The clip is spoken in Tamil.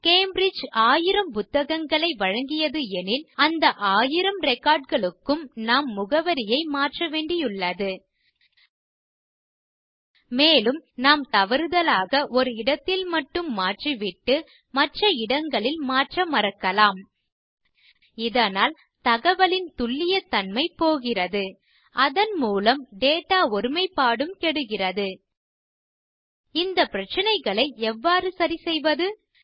கேம்பிரிட்ஜ் ஆயிரம் புத்தகங்களை வழங்கியது எனில் அந்த ஆயிரம் ரெக்கார்ட் களுக்கும் நாம் முகவரியை மாற்ற வேண்டியுள்ளது மேலும் நாம் தவறுதலாக ஒரு இடத்தில் மட்டும் மாற்றிவிட்டு மற்ற இடங்களில் மாற்ற மறக்கலாம் இதனால் தகவலின் துல்லியத்தன்மை போகிறது அதன் மூலம் டேட்டா ஒருமைப்பாடும் கெடுகிறது இந்த பிரச்சனைகளை எவ்வாறு சரிசெய்வது